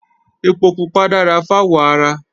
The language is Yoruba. Ẹpo pupa dára fáwọ̀ ara